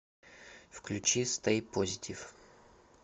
включи стэй позитив